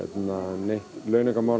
neitt